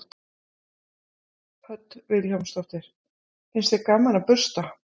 Hödd Vilhjálmsdóttir: Finnst þér gaman að bursta?